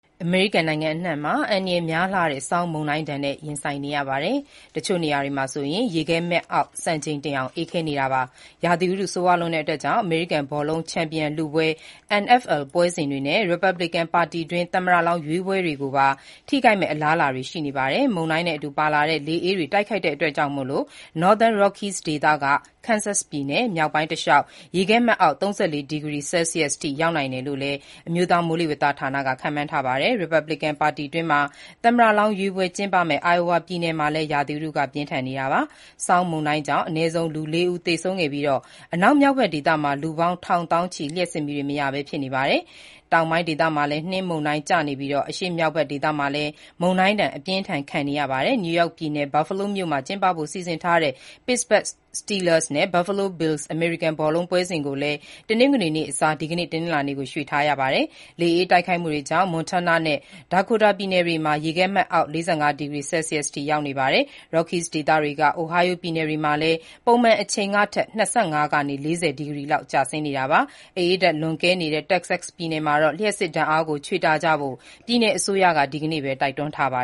အမေရိကန်နိုင်ငံအနှံ့မှာ အန္တရာယ်များလှတဲ့ ဆောင်းမုန်တိုင်းနဲ့ ရင်ဆိုင်နေရပြီး၊ တချို့နေရာတွေမှာ ရေခဲမှတ်အောက် စံချိန်တင်အောင် အေးခဲနေပါတယ်။ ရာသီဥတု ဆိုးရွားလွန်းတာကြောင့် အမေရိကန်ဘောလုံး ချန်ပီယံလုပွဲ NFL ပွဲစဉ်တွေနဲ့ ရီပတ်ဘလစ်ကန် ပါတီတွင်း သမ္မတလောင်း ရွေးပွဲတွေကိုပါ ထိခိုက်မယ့် အလားအလာတွေ ရှိနေပါတယ်။ မုန်တိုင်းနဲ့အတူပါလာတဲ့ လေအေးတိုက်ခတ်မှုကြောင့် Northern Rockies ဒေသကနေ Kansas ပြည်နယ် မြောက်ပိုင်းတလျှောက် ရေခဲမှတ်အောက် ၃၄ ဒီဂရီ ဆဲလ်စီးယ်စ်ရောက်နိုင်တယ်လို့လည်း အမျိုးသားမိုးလေဝသဌာနက ခန့်မှန်းထားပါတယ်။ ရီပတ်ဘလစ်ကန် ပါတီတွင်း သမ္မတလောင်းရွေးပွဲ ကျင်းပမယ့် Iowa ပြည်နယ်မှာလည်း ရာသီဥတု ပြင်းထန်နေတာပါ။ ဆောင်းမုန်တိုင်းကြောင့် အနည်းဆုံး ၄ ဦး သေဆုံးခဲ့ပြီး၊ အနောက်မြောက်ဖက် ဒေသမှာ လူပေါင်း ထောင်သောင်းချီ လျှပ်စစ်မီးတွေမရပဲ ဖြစ်နေကြပါတယ်။ တောင်ပိုင်းဒေသမှာလည်း နှင်းမုန်တိုင်းကျနေပြီး အရှေ့မြောက်ဖက်ဒေသမှာလည်း မုန်တိုင်းဒဏ် အပြင်းအထန် ခံနေရတာကြောင့် New York ပြည်နယ်၊ Buffalo မြို့မှာ ကျင်းပဖို့ စီစဉ်ထားတဲ့ Pittsburgh Steelers နဲ့ Buffalo Bills အမေရိကန်ဘောလုံးပွဲစဉ်ကိုလည်း တနင်္ဂနွေနေ့အစား ဒီကနေ့ တနင်္လာနေ့ကို ရွှေ့ထားရတာပါ။ လေအေးတိုက်ခတ်မှုတွေကြောင့် Montana နဲ့ Dakota ပြည်နယ်တွေမှာ ရေခဲမှတ်အောက် ၄၅ ဒီဂရီဆဲလ်စီးယ်စ်အထိ ရောက်နေပါတယ်။ Rockies ဒေသကနေ Ohio ပြည်နယ်တွေမှာလည်း ပုံမှန်အချိန်အထက် ၂၅ ကနေ ၄၀ ဒီဂရီလောက် ကျဆင်းနေတာပါ။ အအေးဓာတ် လွန်ကဲနေတဲ့ Texas ပြည်နယ်မှာတော့ လျှပ်စစ်ဓာတ်အားကို ချွေတာကြဖို့ ပြည်နယ်အစိုးရက ဒီကနေ့ပဲ တိုက်တွန်းထားပါ